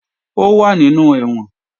Ó wà nínú ẹ̀wọ̀n